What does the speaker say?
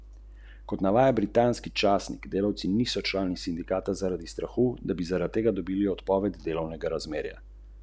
Lani je kot petošolec v enem izmed šolskih spisov opisal dogajanje na gradbišču v obliki povabila obiskovalcem: "Pridite v Podbrdo!